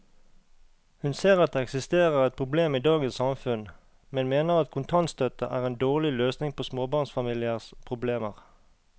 Hun ser at det eksisterer et problem i dagens samfunn, men mener at kontantstøtte er en dårlig løsning på småbarnsfamiliers problemer.